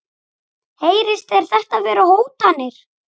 Heyrist þér þetta vera hótanir?